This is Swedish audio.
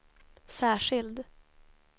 särskild